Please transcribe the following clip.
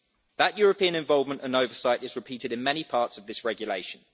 That European involvement and oversight is repeated in many parts of this regulation.